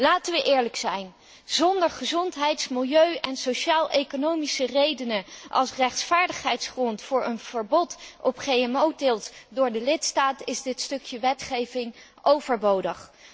Laten we eerlijk zijn, zonder gezondheids milieu en sociaal economische redenen als rechtvaardigheidsgrond voor een verbod op GMO teelt door de lidstaten, is dit stukje wetgeving overbodig.